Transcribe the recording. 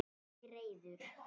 Ekki reiður.